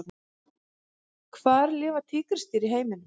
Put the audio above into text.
Hvar lifa tígrisdýr í heiminum?